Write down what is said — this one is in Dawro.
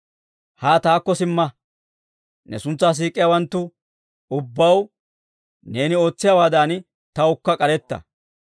Haa taakko simma; ne suntsaa siik'iyaawanttu ubbaw neeni ootsiyaawaadan tawukka k'aretta.